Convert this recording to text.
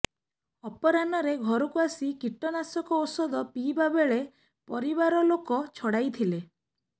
ଅପରାହ୍ନରେ ଘରକୁ ଆସି କୀଟନାଶକ ଔଷଧ ପିଇବା ବେଳେ ପରିବାର ଲୋକ ଛଡାଇଥିଲେ